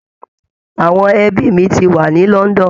Àwọn ẹbi mi ti wà ní London